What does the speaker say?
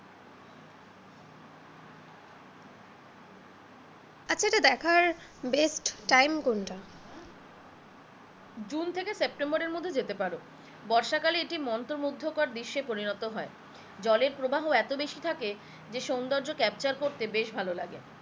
এটা দেখার best time কোনটা?